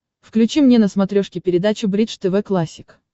включи мне на смотрешке передачу бридж тв классик